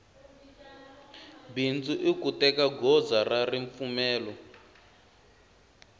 bindzu iku teka goza ra ripfumelo